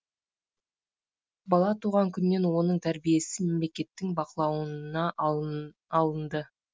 бала туған күннен оның тәрбиесі мемлекеттің бақылауына алынды